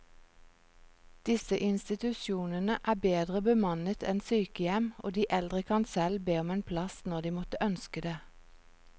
Disse institusjonene er bedre bemannet enn sykehjem, og de eldre kan selv be om en plass når de måtte ønske det.